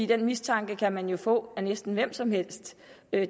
den mistanke kan man jo få meddelt af næsten hvem som helst